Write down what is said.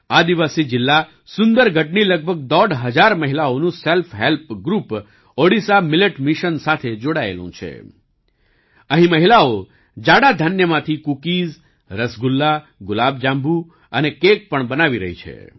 આદિવાસી જિલ્લા સુંદરગઢની લગભગ દોઢ હજાર મહિલાઓનું self help group Odisha millet mission સાથે જોડાયેલું છે